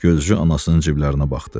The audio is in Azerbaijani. Gözcü anasının ciblərinə baxdı.